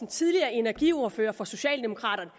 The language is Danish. tidligere energiordfører for socialdemokraterne